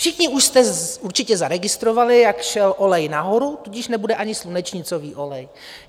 Všichni už jste určitě zaregistrovali, jak šel olej nahoru, tudíž nebude ani slunečnicový olej.